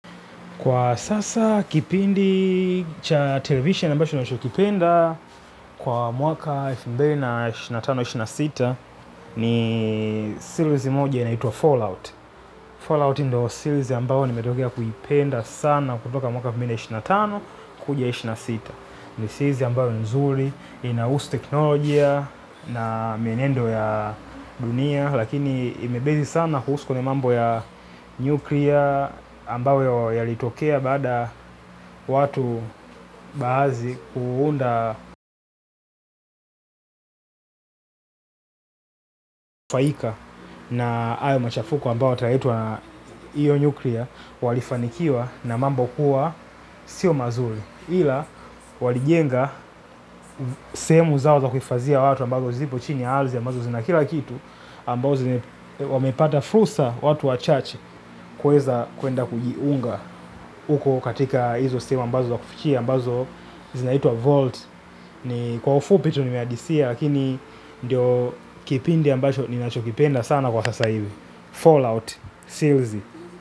Kwa sasa kipindi cha televisheni ambacho ninachokipenda kwa mwaka elfu mbili na ishirini na tano ishirini na sita ni series moja inaitwa Fallout. Fallout ndo series ambayo nimetokea kuipenda sana kutoka mwaka elfu mbili ishirini na tano kuja ishirini sita. Ni series ambayo nzuri inahusu teknolojia na mienendo ya dunia. Lakini imebezi sana kuhusu kwenye mambo ya nuclear ambayo yalitokea baada watu baadhi kuunda faika na hayo machafuko ambayo yataitwa hiyo nyukria walifanikiwa na mambo kuwa sio mazuri walijenga sehemu zao za kuhifadhia watu ambazo zipo chini ya ardhi ambazo zina kila kitu ambazo wamepata fursa watu wachache kuweza kwenda kujiunga. Uko katika hizo sehemu ambazo wakufikia ambazo zinaitwa vault. Ni kwa ufupi tu nimeadisia lakini ndio kipindi ambacho ninachokipenda sana kwa sasa hivi Fallout silzi.